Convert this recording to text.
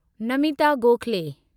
Namita Gokhale